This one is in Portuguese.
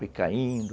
Foi caindo,